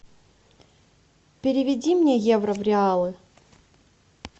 переведи мне евро в реалы